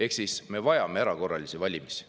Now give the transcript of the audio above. Ehk siis me vajame erakorralisi valimisi.